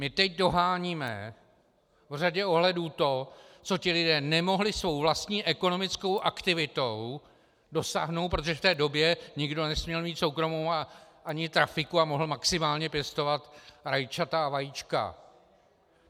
My teď doháníme v řadě ohledů to, co ti lidé nemohli svou vlastní ekonomickou aktivitou dosáhnout, protože v té době nikdo nesměl mít soukromou ani trafiku a mohl maximálně pěstovat rajčata a vajíčka.